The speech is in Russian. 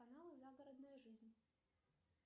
канал загородная жизнь